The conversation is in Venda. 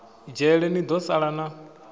dzhele ni do sala na